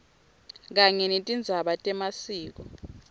kanye netindzaba temasiko